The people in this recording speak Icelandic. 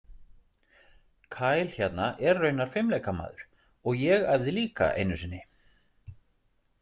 Kyle hérna er raunar fimleikmaður og ég æfði líka einu sinni.